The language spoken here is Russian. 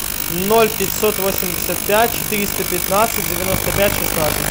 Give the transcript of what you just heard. ноль пятьсот восемьдесят пять четыреста пятнадцать девяносто пять шестнадцать